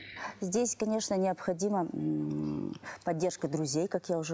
здесь конечно необходимо ммм поддержка друзей как я уже